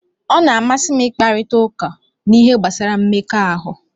Ọ na-amasị m ịkparịta ụka n'ihe gbasara mmekọahụ